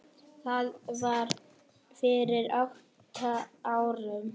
Það var fyrir átta árum.